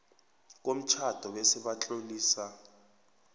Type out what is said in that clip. komtjhado bese batlolisa